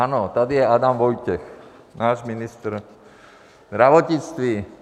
Ano, tady je Adam Vojtěch, náš ministr zdravotnictví.